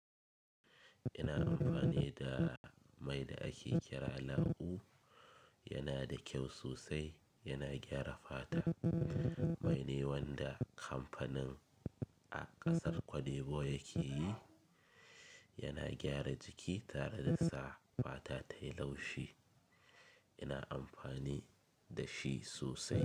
Ina amfani da mai da ake kira lau, yana da kyau sosai, yana gyara fata. Mai ne wanda kamfanin a ƙasar Cote d'Ivoire yake yi, yana gyara jiki tare da sa fata tayi laushi. Ina amfani da shi sosai.